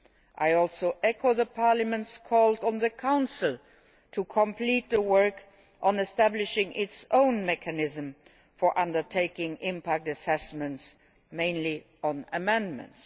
I also echo Parliament's call on the Council to complete the work on establishing its own mechanism for undertaking impact assessments, mainly on amendments.